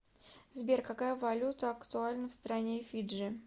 сбер какая валюта актуальна в стране фиджи